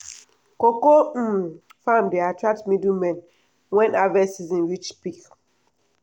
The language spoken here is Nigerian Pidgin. cocoa um farm dey attract middlemen when harvest season reach peak.